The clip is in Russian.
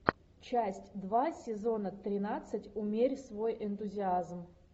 часть два сезона тринадцать умерь свой энтузиазм